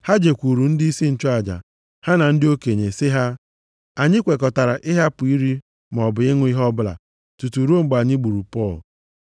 Ha jekwuuru ndịisi nchụaja ha na ndị okenye, sị ha, “Anyị kwekọtara ịhapụ iri maọbụ ịṅụ ihe ọbụla tutu ruo mgbe anyị gburu Pọl.